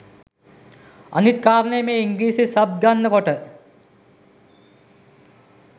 අනිත් කාරණේ මේ ඉංග්‍රිසි සබ් ගන්න කොට